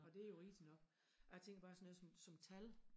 Og det jo rigtig nok jeg tænkte bare sådan noget som som tal